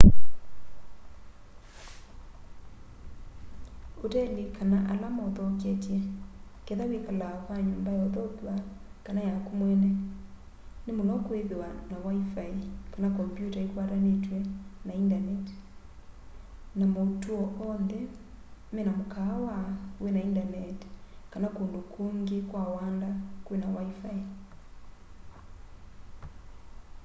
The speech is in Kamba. oteli kana ala mauthoketye kethwa wiikala kwa nyumba ya uthokw'a kana yaku mweene ni muno kwithwa na wifi kana kombyuta ikwatanitw'e na indaneti na mautuo oonthe mena mukaawa wina indaneti kana kundu kungi kwa wanda kwina wifi